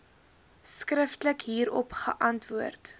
skriftelik hierop geantwoord